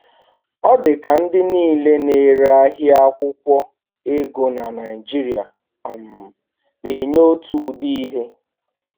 Ọ di ka ndị niile na ere ahia akwụkwo ego na Naijiria um na-enye otu ụdị ihe